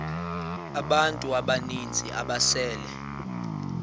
abantu abaninzi ababesele